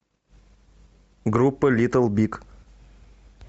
группа литл биг